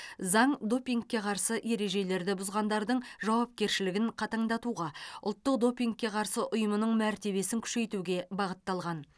заң допингке қарсы ережелерді бұзғандардың жауапкершілігін қатаңдатуға ұлттық допингке қарсы ұйымның мәртебесін күшейтуге бағытталған